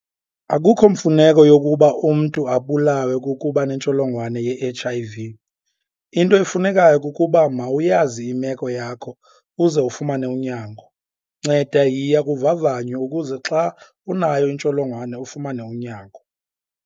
Akukho mfuneko yokuba umntu abulawe kukuba nentsholongwane yeHIV - into efunekayo kukuba mawuyazi imeko yakho uze ufumane unyango. Nceda yiya kuvavanyo ukuze xa unayo intsholongwane, ufumane unyango.